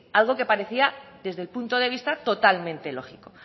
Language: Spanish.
algo que parecía desde el punto de vista totalmente lógico